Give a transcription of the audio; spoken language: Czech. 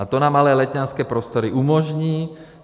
A to nám ale letňanské prostory umožní.